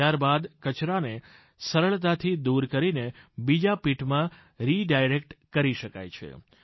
ત્યારબાદ કચરાને સરળતાથી દૂર કરીને બીજા પીટ માં રિડાયરેક્ટ કરી શકાય છે